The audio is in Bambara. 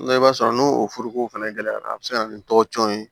I b'a sɔrɔ n'o forokow fɛnɛ gɛlɛyara a bɛ se ka na ni tɔgɔcɛn ye